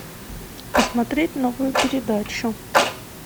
посмотреть новую передачу